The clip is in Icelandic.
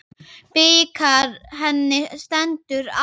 Bikar henni stendur á.